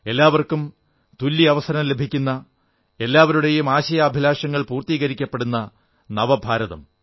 എല്ലാവർക്കും തുല്യ അവസരം ലഭിക്കുന്ന എല്ലാവരുടെയും ആശയാഭിലാഷങ്ങൾ പൂർത്തീകരിക്കപ്പെടുന്ന നവഭാരതം